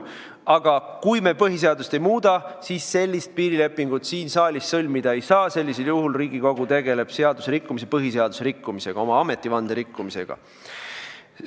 Aga kui me põhiseadust ei muuda, siis sellist piirilepingut siin saalis sõlmida ei saa, sellisel juhul tegeleb Riigikogu põhiseaduse rikkumisega ja oma ametivande rikkumisega.